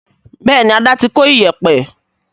bẹẹni Ada tí kò Iyẹ̀pẹ̀